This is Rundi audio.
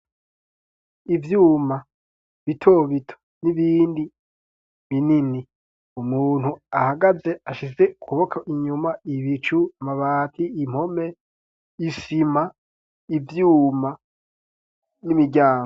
Ivyuma, bitobito, n'ibindi binini, umuntu ahagaze ashize kuboka inyuma ibicu Amabati ,impome ,isima ,ivyuma ,n'imiryango.